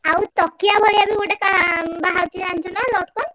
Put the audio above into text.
ଆଉ ତକିଆ ଭଳିଆ ବି କାହା ବାହାରୁଛି ଜାଣିଛୁନା ଲଟ୍ କନ୍?